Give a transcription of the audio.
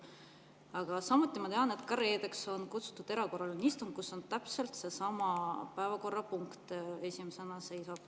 Aga samuti ma tean, et reedeks on kutsutud erakorraline istung, kus seisab esimesena täpselt sama päevakorrapunkt.